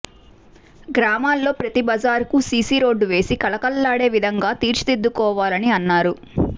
గ్రామాల్లో ప్రతి బజారుకు సీసీ రోడ్డు వేసి కళకళలాడే విధంగా తీర్చిదిద్దుకోవాలని అన్నారు